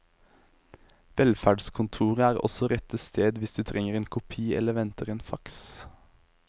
Velferdskontoret er også rette stedet hvis du trenger en kopi eller venter en fax.